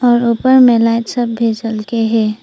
और ऊपर में लाइट सब भी जल के है।